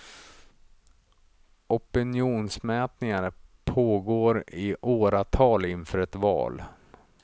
Opinionsmätningar pågår i åratal inför ett val.